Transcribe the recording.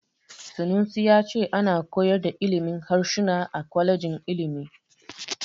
Sanusi ya ce ana koyar da ilimin harsuna a kwalejin ilimi.